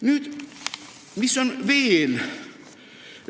Nüüd, üks asi veel.